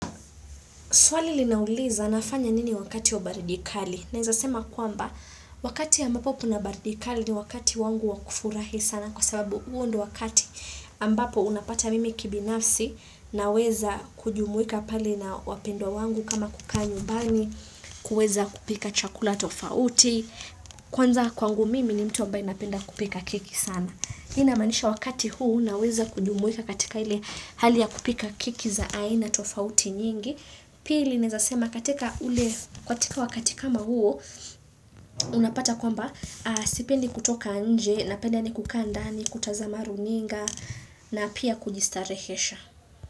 Swali linauliza nafanya nini wakati wa baridi kali. Naeza sema kwamba, wakati ambapo kuna baridi kali ni wakati wangu wa kufurahi sana kwa sababu huo ndo wakati ambapo unapata mimi kibinafsi naweza kujumuika pale na wapendwa wangu kama kukaa nyumbani kuweza kupika chakula tofauti. Kwanza kwangu mimi ni mtu ambaye napenda kupika keki sana. Hii inamaanisha wakati huu naweza kujumuika katika hali ya kupika keki za aina tofauti nyingi. Pili naeza sema katika ule katika wakati kama huo unapata kwamba sipendi kutoka nje napenda yaani kukaa ndani kutazama runinga na pia kujistarehesha.